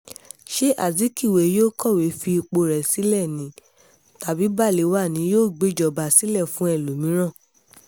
ṣé azikiwe yóò kọ̀wé fi ipò rẹ̀ sílẹ̀ ni tàbí balewa ni yóò gbéjọba sílẹ̀ fún ẹlòmíràn